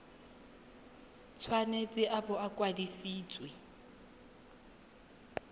tshwanetse a bo a kwadisitswe